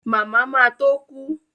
Màmá ma tó kú